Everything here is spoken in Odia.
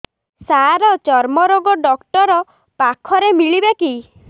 ସାର ଚର୍ମରୋଗ ଡକ୍ଟର ପାଖରେ ମିଳିବେ କି